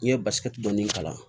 N'i ye basi dɔɔnin k'a la